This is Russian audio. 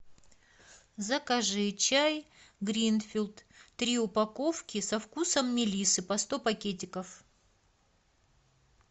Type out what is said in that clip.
закажи чай гринфилд три упаковки со вкусом мелиссы по сто пакетиков